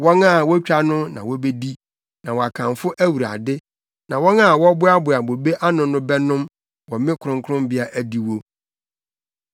wɔn a wotwa no na wobedi na wɔakamfo Awurade, na wɔn a wɔboaboa bobe ano no bɛnom wɔ me kronkronbea adiwo.”